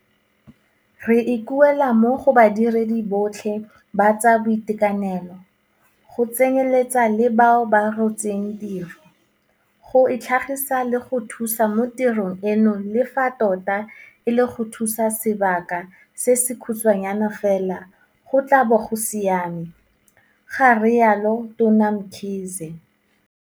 Re ikuela mo go badiredi botlhe ba tsa boitekanelo, go tsenyeletsa le bao ba rotseng tiro, go itlhagisa le go thusa mo tirong eno le fa tota e le go thusa sebaka se se khutshwanyana fela go tla bo go siame, ga rialo Tona Mkhize.